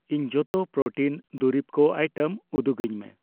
ᱤᱧ ᱡᱚᱛᱚ ᱯᱨᱳᱴᱤᱱ ᱫᱩᱨᱤᱵ ᱠᱩ ᱟᱭᱴᱮᱢ ᱩᱫᱩᱜᱟᱹᱧ ᱢᱮ ᱾